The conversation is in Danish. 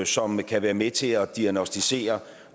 som kan være med til at diagnosticere